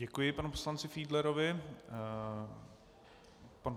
Děkuji panu poslanci Fiedlerovi.